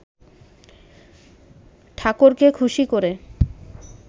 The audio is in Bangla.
ঠাকরকে খুশি করে